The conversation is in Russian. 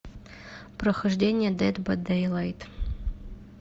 прохождение дед бай дейлайт